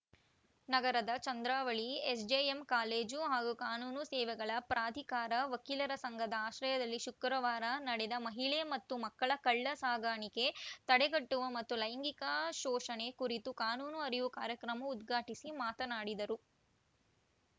ನಗರದ Chandravalli SJM college ಹಾಗೂ ಕಾನೂನು ಸೇವೆಗಳ ಪ್ರಾಧಿಕಾರ ವಕೀಲರ ಸಂಘದ ಆಶ್ರಯದಲ್ಲಿ ಶುಕ್ರವಾರ ನಡೆದ ಮಹಿಳೆ ಮತ್ತು ಮಕ್ಕಳ ಕಳ್ಳ ಸಾಗಾಣಿಕೆ ತಡೆಗಟ್ಟುವ ಮತ್ತು ಲೈಂಗಿಕ ಶೋಷಣೆ ಕುರಿತು ಕಾನೂನು ಅರಿವು ಕಾರ್ಯಕ್ರಮ ಉದ್ಘಾಟಿಸಿ ಮಾತನಾಡಿದರು